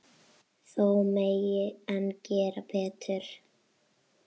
Þó megi enn gera betur.